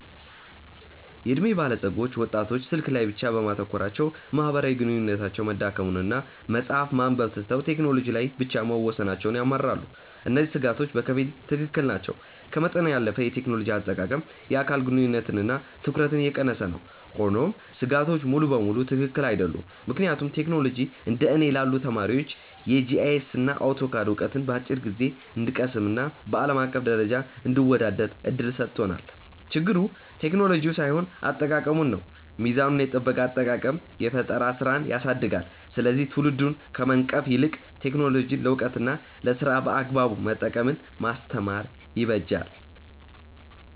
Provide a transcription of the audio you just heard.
የዕድሜ ባለጸጎች ወጣቶች ስልክ ላይ ብቻ በማተኮራቸው ማህበራዊ ግንኙነታቸው መዳከሙንና መጽሐፍት ማንበብ ትተው ቴክኖሎጂ ላይ ብቻ መወሰናቸውን ያማርራሉ። እነዚህ ስጋቶች በከፊል ትክክል ናቸው፤ ከመጠን ያለፈ የቴክኖሎጂ አጠቃቀም የአካል ግንኙነትንና ትኩረትን እየቀነሰ ነው። ሆኖም ስጋቶቹ ሙሉ በሙሉ ትክክል አይደሉም፤ ምክንያቱም ቴክኖሎጂ እንደ እኔ ላሉ ተማሪዎች የጂአይኤስና አውቶካድ ዕውቀትን በአጭር ጊዜ እንድንቀስምና በአለም አቀፍ ደረጃ እንድንወዳደር እድል ሰጥቶናል። ችግሩ ቴክኖሎጂው ሳይሆን አጠቃቀሙ ነው። ሚዛኑን የጠበቀ አጠቃቀም የፈጠራ ስራን ያሳድጋል፤ ስለዚህ ትውልዱን ከመንቀፍ ይልቅ ቴክኖሎጂን ለዕውቀትና ለስራ በአግባቡ መጠቀምን ማስተማር ይበጃል።